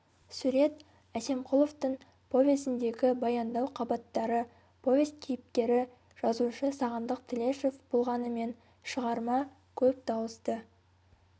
сурет әсемқұловтың повесіндегі баяндау қабаттары повесть кейіпкері жазушы сағындық тілешев болғанымен шығарма көп дауысты